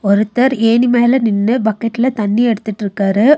ஒருத்தர் ஏணி மேல நின்னு பக்கெட்ல தண்ணி எடுத்துட்ருக்காரு.